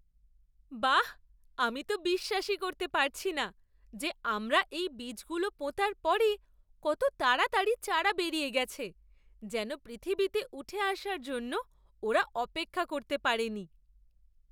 বাঃ, আমি তো বিশ্বাসই করতে পারছি না যে আমরা এই বীজগুলো পোঁতার পরে কত তাড়াতাড়ি চারা বেরিয়ে গেছে। যেন পৃথিবীতে উঠে আসার জন্য ওরা অপেক্ষা করতে পারেনি!